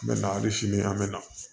An bɛ na hali sini an bɛ na